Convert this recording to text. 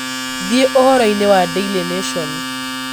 thie uhoro ini wa daily nation